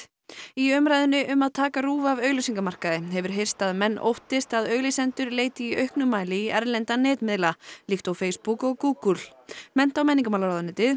í umræðunni um að taka RÚV af auglýsingamarkaði hefur heyrst að menn óttist að auglýsendur leiti í auknum mæli í erlenda netmiðla líkt og Facebook og Google mennta og menningarmálaráðuneytið